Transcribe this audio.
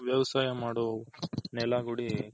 ವ್ಯವಸಾಯ ಮಾಡೋ ನೆಲ ಗುಡಿ .